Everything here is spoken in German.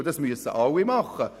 Und das müssen alle machen.